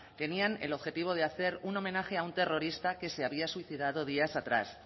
tenían el objetivo de hacer un homenaje a un terrorista que se había suicidado días atrás